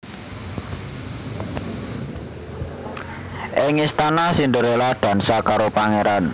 Ing istana Cinderella dansa karo pangeran